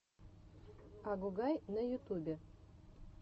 агугай на ютубе